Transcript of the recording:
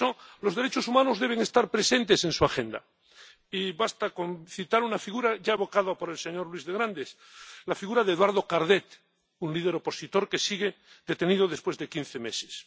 Por eso, los derechos humanos deben estar presentes en su agenda —y basta con citar una figura, ya evocada por el señor Luis de Grandes la figura de Eduardo Cardet, un líder opositor que sigue detenido después de quince meses—.